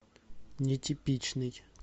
нетипичный